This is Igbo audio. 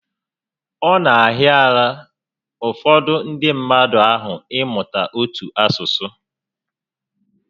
Ọ na ahịara ụfọdụ ndị mmadụ ahụ ịmụta otu asụsụ